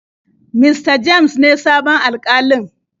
Mista james ne sabon Alkalin.